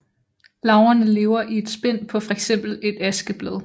Larverne lever i et spind på fx et askeblad